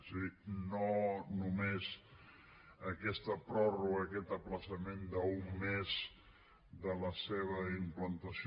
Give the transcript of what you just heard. és a dir no només a aquesta pròrroga aquest ajornament d’un mes de la seva implantació